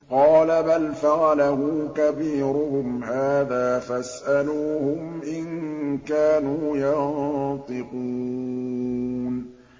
قَالَ بَلْ فَعَلَهُ كَبِيرُهُمْ هَٰذَا فَاسْأَلُوهُمْ إِن كَانُوا يَنطِقُونَ